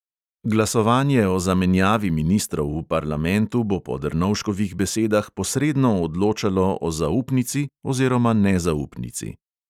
Glasovanje o zamenjavi ministrov v parlamentu bo po drnovškovih besedah posredno odločalo o zaupnici oziroma nezaupnici.